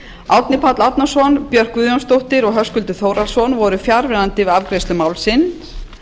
árni páll árnason björk guðjónsdóttir og höskuldur þórhallsson voru fjarverandi við afgreiðslu málsins